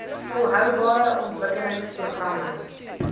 volhoubare ontwikkelings programme